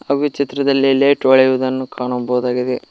ಹಾಗು ಈ ಚಿತ್ರದಲ್ಲಿ ಲೈಟ್ ಹೊಳೆಯುವುದನ್ನು ಕಾಣಬಹುದಾಗಿದೆ.